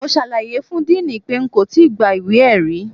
Mo ṣàlàyé fún diini pé n kò tí gba ìwé-ẹ̀rí.